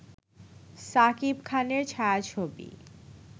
সাকিব খানের ছায়াছবি